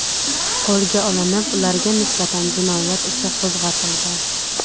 qo‘lga olinib, ularga nisbatan jinoyat ishi qo‘zg‘atilgan.